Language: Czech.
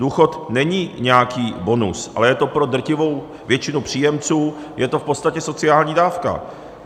Důchod není nějaký bonus, ale je to pro drtivou většinu příjemců v podstatě sociální dávka.